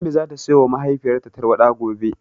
Ummi zata siyowa mahaifiyarta tarwaɗa gobe.